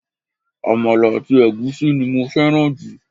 Àmàlà àti ègúsí ni mo féràn jù